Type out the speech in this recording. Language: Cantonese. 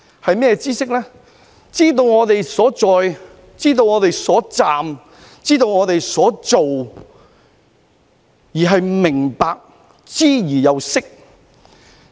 知識就是知道我們所在，知道我們所站，知道我們所做，而且明白，知而又識。